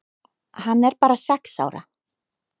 Hann er bara sex ára.